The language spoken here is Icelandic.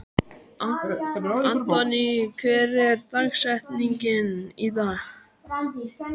Anthony, hver er dagsetningin í dag?